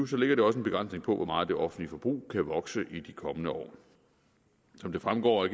så ligger det også en begrænsning på hvor meget det offentlige forbrug kan vokse i de kommende år som det fremgår af